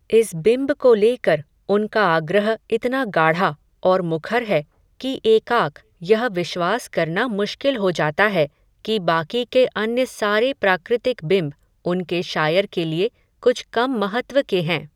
इस बिम्ब को लेकर, उनका आग्रह इतना गाढ़ा, और मुखर है, कि एकाक, यह विश्वास करना मुश्किल हो जाता है, कि बाकी के अन्य सारे प्राकृतिक बिम्ब, उनके शायर के लिए, कुछ कम महत्त्व के हैं